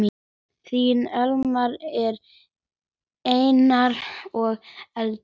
Þín Elmar, Erna og Eydís.